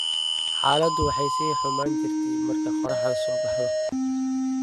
"Xaaladu waxay sii xumaan jirtay marka qoraxdu soo baxdo."